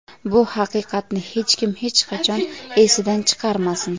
Bu haqiqatni hech kim, hech qachon esidan chiqarmasin.